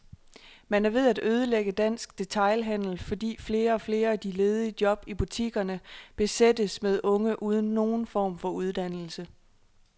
Man er ved at ødelægge dansk detailhandel, fordi flere og flere af de ledige job i butikkerne besættes med unge uden nogen form for uddannelse.